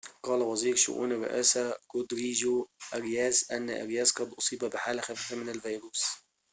قال وزير شئون الرئاسة رودريجو آرياس أن أرياس قد أصيب بحالة خفيفة من الفيروس